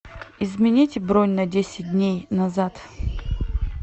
изменить бронь на десять дней назад